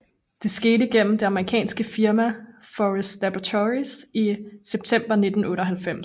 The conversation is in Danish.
Det skete gennem det amerikanske firma Forest Laboratories i september 1998